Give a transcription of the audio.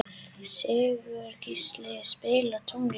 Sigurgísli, spilaðu tónlist.